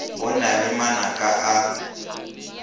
go na le manaka a